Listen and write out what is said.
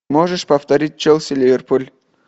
можешь повторить челси ливерпуль